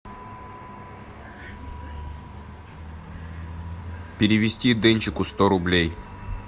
перевести денчику сто рублей